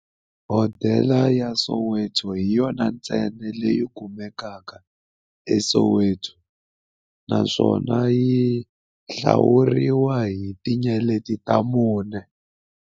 Hodela ya Soweto hi yona ntsena leyi kumekaka eSoweto, naswona yi hlawuriwa hi tinyeleti ta mune.